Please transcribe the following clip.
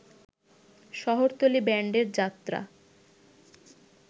শহরতলী ব্যান্ডের যাত্রা